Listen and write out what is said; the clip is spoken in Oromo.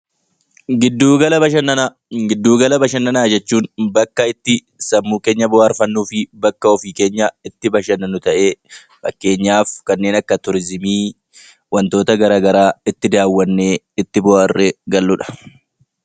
Giddugala bashannanaa Giddugala bashannanaa jechuun bakka itti sammuu keenya bohaarfannuu fi bakka ofii keenyaa itti bashannannu ta'ee, fakkeenyaaf kanneen akka Turiizimii, wantoota gara garaa itti daawwannee, itti bohaarree gallu dha.